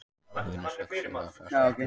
Hlýnun sögð stuðla að frosthörkum